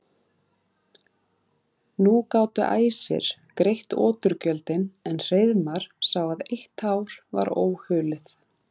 Nú gátu æsir greitt oturgjöldin en Hreiðmar sá að eitt hár var óhulið.